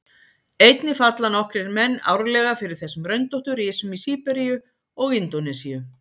einnig falla nokkrir menn árlega fyrir þessum röndóttu risum í síberíu og indónesíu